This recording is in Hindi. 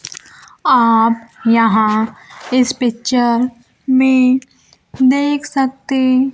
आप यहां इस पिक्चर में देख सकते--